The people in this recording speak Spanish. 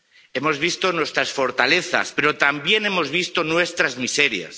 Hemos visto nuestras fortalezas, pero también hemos visto nuestras miserias.